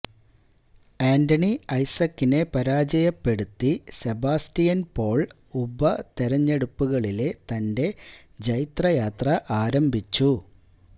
ആന്റണി ഐസക്കിനെ പരാജയപ്പെടുത്തി സെബാസറ്റിയന് പോള് ഉപതെരഞ്ഞെടുപ്പുകളിലെ തന്റെ ജൈത്രയാത്ര ആരംഭിച്ചു